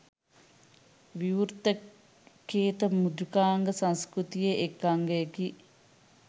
විවෘත කේත මෘදුකාංග සංස්කෘතියේ එක් අංගයකි.